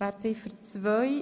umgewandelt worden ist.